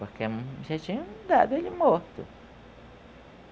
Porque já tinham dado ele morto.